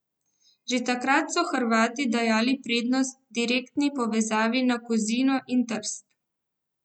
Že takrat so Hrvati dajali prednost direktni povezavi na Kozino in Trst.